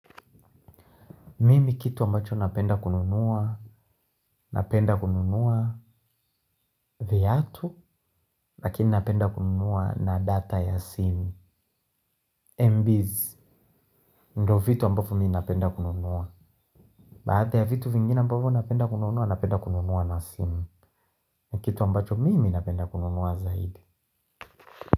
Mimi kitu ambacho napenda kununua, napenda kununua vyatu, lakini napenda kununua na data ya simu. Mbz, ndio vitu ambavyo mi napenda kununua. Baada ya vitu vingine ambavo napenda kununua, napenda kununua na simu. Kitu ambacho mimi napenda kununua zaidi.